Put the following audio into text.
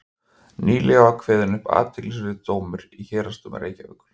nýlega var kveðinn upp athyglisverður dómur í héraðsdómi reykjavíkur